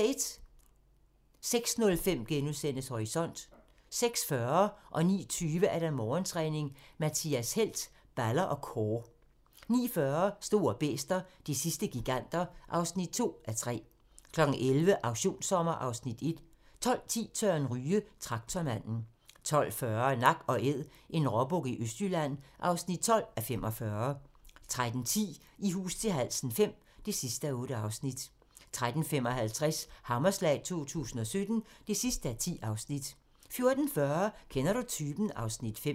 06:05: Horisont * 06:40: Morgentræning: Mathias Helt - balder og core 09:20: Morgentræning: Mathias Helt - balder og core 09:40: Store bæster - de sidste giganter (2:3) 11:00: Auktionssommer (Afs. 1) 12:10: Søren Ryge: Traktormanden 12:40: Nak & Æd - en råbuk i Østjylland (12:45) 13:10: I hus til halsen V (8:8) 13:55: Hammerslag 2017 (10:10) 14:40: Kender du typen? (Afs. 5)